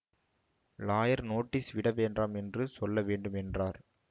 lawyer notice விடவேண்டாம் என்று சொல்ல வேண்டும் என்றார்